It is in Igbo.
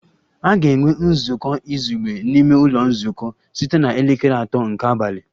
A ga-enwe nzukọ izugbe n'ime ụlọ nzukọ site na elekere atọ nke abalị